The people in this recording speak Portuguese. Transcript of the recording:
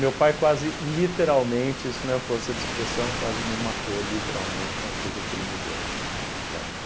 Meu pai quase literalmente, isso não é força de expressão, quase me matou literalmente com a surra que ele me deu, tá?